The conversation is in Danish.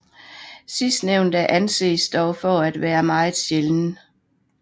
Sidstnævnte anses dog for at være meget sjælden